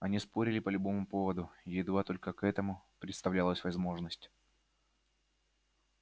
они спорили по любому поводу едва только к этому предоставлялась возможность